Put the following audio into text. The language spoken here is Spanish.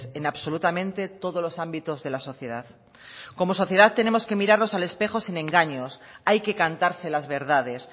en absolutamente todos los ámbitos de la sociedad como sociedad tenemos que mirarnos al espejo sin engaños hay que cantarse las verdades